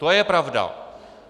To je pravda.